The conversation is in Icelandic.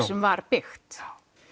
sem var byggt